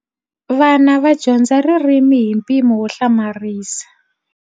Vana va dyondza ririmi hi mpimo wo hlamarisa.